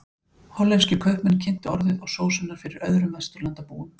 Hollenskir kaupmenn kynntu orðið og sósuna fyrir öðrum Vesturlandabúum.